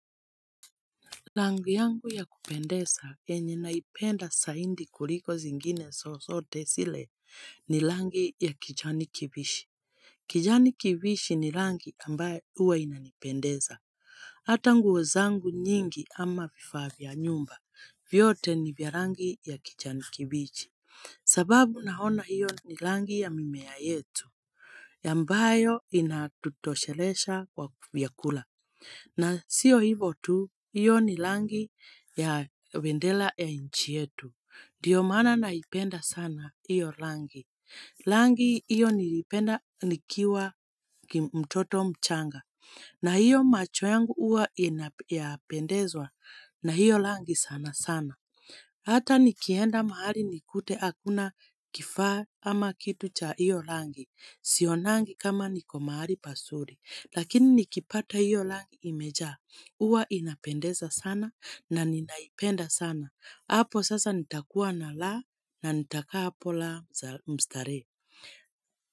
Rangi yangu ya kupendeza yenye naipenda zaidi kuliko zingine zozote zile ni rangi ya kijani kibichi. Kijani kibichi ni rangi ambayo huwa inanipendeza. Hata nguo zangu nyingi ama vifaa vya nyumba. Vyote ni vya rangi ya kijani kibichi. Sababu naona hiyo ni rangi ya mimea yetu. Yambayo inatutoshelesha kwa vyakula. Na sio ivo tu, hiyo ni rangi ya bendera ya nchi yetu. Ndiyo maana naipenda sana hiyo rangi. Rangi hiyo nilipenda nikiwa mtoto mchanga. Na hiyo macho yangu huwa inapendezwa na hiyo rangi sana sana. Hata nikienda mahali nikute hakuna kifaa ama kitu cha hiyo rangi. Sionangi kama niko mahali pazuri. Lakini nikipata hiyo rangi imejaa, huwa inapendeza sana na ninaipenda sana, hapo sasa nitakuwa na raha na nitakaa hapo la mstarehe.